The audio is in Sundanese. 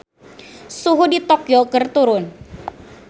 Suhu di Tokyo keur turun